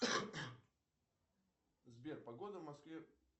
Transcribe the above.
сбер погода в москве